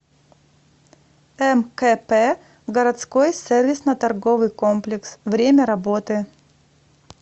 мкп городской сервисно торговый комплекс время работы